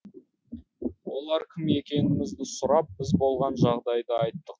олар кім екенімізді сұрап біз болған жағдайды айттық